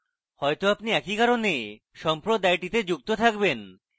হয়তো আপনি একই কারণে সম্প্রদায়টিতে যুক্ত থাকবেন